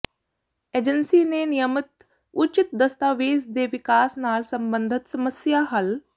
agency ਨੇ ਨਿਯਮਿਤ ਉਚਿਤ ਦਸਤਾਵੇਜ਼ ਦੇ ਵਿਕਾਸ ਨਾਲ ਸਬੰਧਤ ਸਮੱਸਿਆ ਹੱਲ